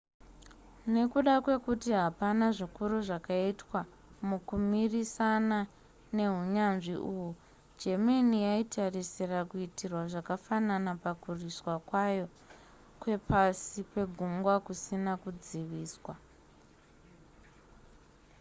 nekuda kwekuti hapana zvikuru zvakaitwa mukumirisana nehunyanzvi uhwu germany yaitarisira kuitirwa zvakafanana pakurwisa kwayo kwepasi pegungwa kusina kudziviswa